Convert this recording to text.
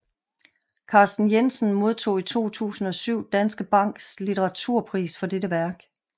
Carsten Jensen modtog i 2007 Danske Banks Litteraturpris for dette værk